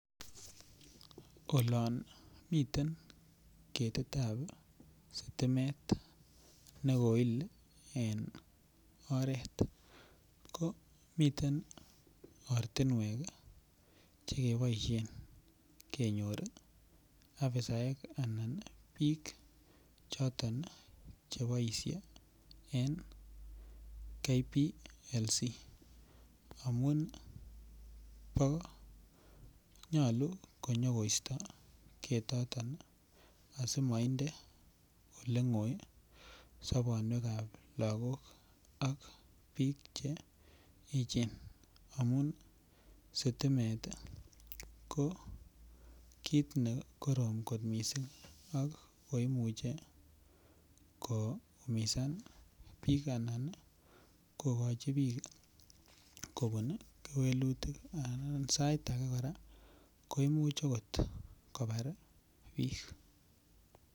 Olon miten ketitab sitimet ne kail en oret ko miten Che keboisien kenyor afisaek anan choton bik Che boisye en KPLC amun nyolu konyo koisto ketoton asi mainde Ole ngoi sobonwekab lagok ak bik Che echen amun sitimet ko kit ne korom kot mising ak ko imuche koumisan bik Anan kogochi bik kobun kewelutik anan sait age kora ko Imuch kobar bik